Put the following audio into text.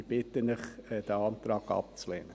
Ich bitte Sie, diesen Antrag abzulehnen.